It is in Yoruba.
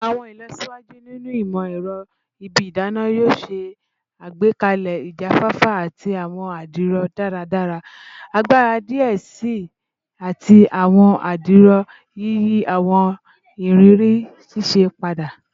Awọn ilọsiwaju ninu imọ-ẹrọ ibi idana yoo ṣe agbekalẹ ijafafa ati awọn adiro daradara-agbara diẹ sii ati awọn adiro, yiyi awọn iriri sise pada